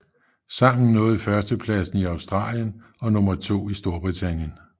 Sangen nåede førstepladsen i Australien og nummer to i Storbritannien